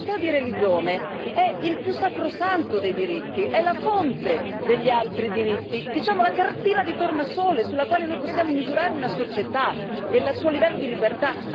La libertà di religione è il più sacrosanto dei diritti, è la fonte degli altri diritti, diciamo, la cartina di tornasole sulla quale noi possiamo misurare una società e il suo livello di libertà.